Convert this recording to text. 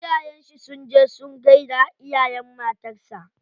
Iyayen shi sun je sun gaida iyayen matar sa.